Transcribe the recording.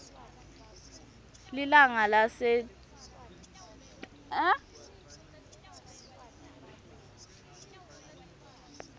lilanga lesatana ngalo